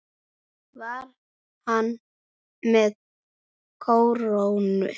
Var hann með kórónu?